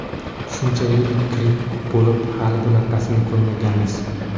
Shuncha yil gripp bo‘lib, hali bunaqasini ko‘rmaganmiz.